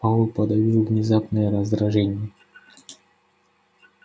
пауэлл подавил внезапное раздражение